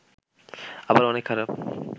আবার অনেক খারাপ